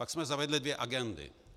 Pak jsme zavedli dvě agendy.